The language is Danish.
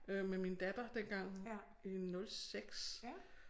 Øh med min datter dengang i 06